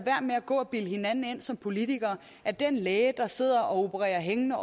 gå og bilde hinanden ind som politikere at den læge der sidder og opererer hængende